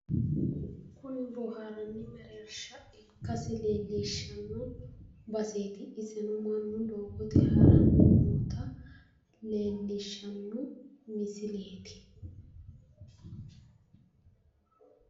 Kuni boohaarranni mereershsha ikkasi leellishshanno baseeti iseno mannu doogote haranni noota leellishanno misileeti.